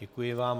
Děkuji vám.